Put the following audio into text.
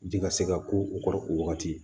Ji ka se ka ku u kɔrɔ o wagati